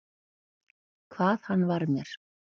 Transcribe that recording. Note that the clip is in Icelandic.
Hvað hann var mér.